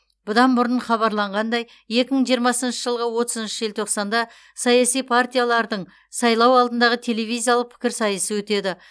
бұдан бұрын хабарланғандай екі мың жиырмасыншы жылғы отызыншы желтоқсанда саяси партиялардың сайлау алдындағы телевизиялық пікірсайысы өтеді